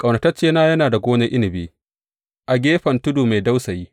Ƙaunataccena yana da gonar inabi a gefen tudu mai dausayi.